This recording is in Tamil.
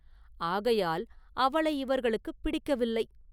ஆகையால் அவளை இவர்களுக்குப் பிடிக்கவில்லை!